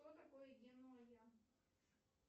что такое генуя